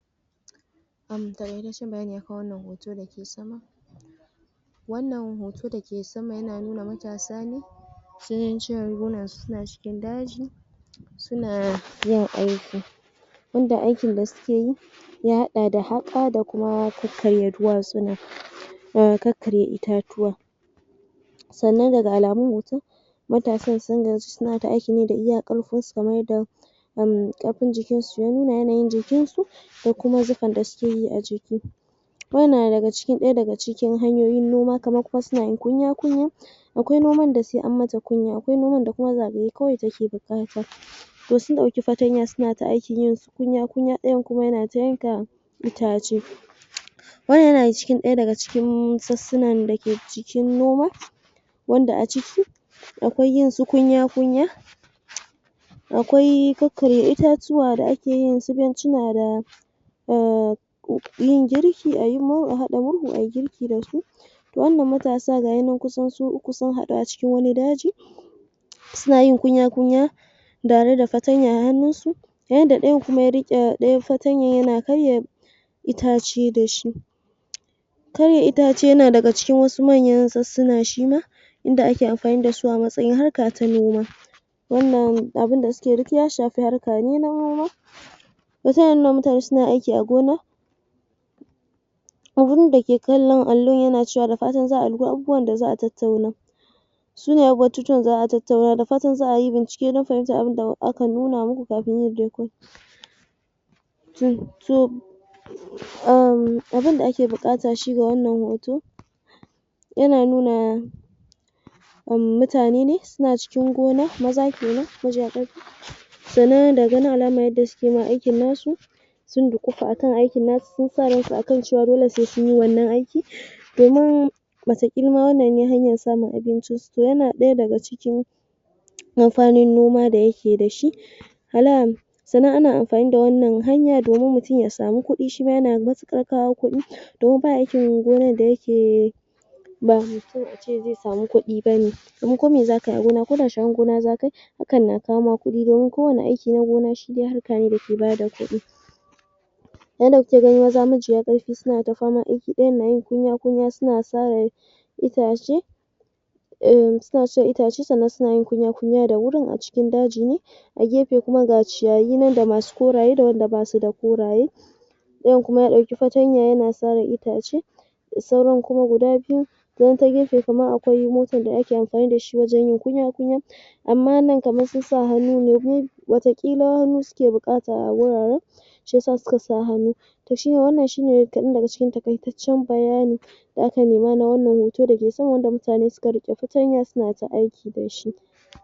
Ga ƙarashen bayani a kan wannan hoto da ke sama Wannan hoto da ke sama yana nuna matasa ne sun cire rigunansu suna cikin daji suna yin aiki inda aikin da suke yi ya haɗa da haƙa da kuma kakkarya duwatsuna da kakkarya itatuwa. Sannan daga alamun hoton, matasan sun gaji suna ta aiki ne da iya ƙarfinsu kamar yadda ƙarfin jikinsu ya nuna, yanayin jikinsu, da kuma zufar da suke yi a jiki Wannan na ɗaya daga cikin hanyoyin noma kamar kuma suna yin kunya-kunya Akwai noman da sai an mata kunya akwai noman da kuma zagaye kawai take buƙata Wasu sun ɗauki fartanya suna ta aiki kunya-kunya, ɗayan kuma yana ta yanka itace. Wannan yana daga cikin ɗaya daga cikin sassunan da ke jikin noma wanda a ciki akwai yinsu kunya-kunya akwai kakkarya itatuwa da ake yin su bencina da um yin girki, a haɗa murhu a yi girki da shi. Wannan matasa ga shi nan kusan su uku sun haɗu a cikin wani daji suna yin kunya-kunya tare da fartanya a hannunsu yanda ɗayan kuma ya riƙe ɗayan fartanyar yana karya itace da shi Karya itace na daga cikin manyan rasassuna shi ma inda ake amfani da su a matsayin harka ta noma Wannan abin da suke yi duk ya shafi harka ne na noma. Hotunan waɗannan mutane suna aiki a gona abin da ke kallon allon yana cewa da fatan za a dubi abubuwan da za a tattauna Sunayen batutuwan da za a tattauna. Da fatan za a yi bincike don fahimtar abubuwan da aka nuna muku kafin yin um Abin da ake buƙata shi ga wannan hoto yana nuna mutane ne suna cikin gona, maza ke nan majiya ƙarfi Sannan daga ganin alamar yadda suke aikin nasu sun duƙufa a kan aikin nasu, sun sa ransu a kan cewa dole sai sun yi wannan aiki domin wataƙil ma wannan ne hanyar samun abincinsu. To yana ɗaya daga cikin mafarin noma da yake da shi Na'am! Sannan ana amfani da wannan hanya domin mutum ya samu kuɗi shi ma yana matuƙar kawo kuɗi domin ba aikin gonar da yake ba mai kyau a ce zai samu kuɗi ba ne, domin kome za ka yi a gona, koda sharar gona za ka yi hakan na kawo ma kuɗdomin kowane aiki na gona shi dai harka ne da ke ba da kuɗi Wannan da kuke ganin maza majiya ƙarfi suna ta famar aiki, ɗayan na kunya-kunya suna sare itace um suna sare itace sannan suna kunya-kunya da wurin a cikin daji ne A gefe kuma ga ciyayi nan da masu koraye da wanda ba su da koraye. Ɗayan kuma ya ɗauki fartanya yana sare itace sauran kuma guda biyu ɗayan ta gefe kuma akwai motar da ake amfani da shi wajen yin kunya-kunya Amma wannan kamar sun sa hannu ne. Wataƙila hannu suke buƙata a wuraren shi ya sa suka sa hannu To wannan shi ne kaɗan daga cikin taƙaitaccen bayani da ake nema na wannan hoto da ke sa wanda mutane suka riƙe fartanya suna aiki da shi.